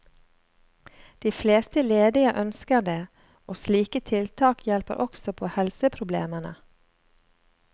De fleste ledige ønsker det, og slike tiltak hjelper også på helseproblemene.